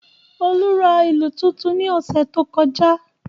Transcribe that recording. Olú ra ìlù tuntun ní ọ̀sẹ̀ tí ó kọjá